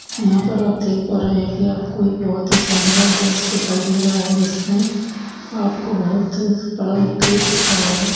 यहाँ पर आप देख पा रहे हैं की आपको एक बहोत ही शानदार दृश्य दिखाई दे रहा है जिसमें में आपको बहोत बड़ा गेट दिख रहा है।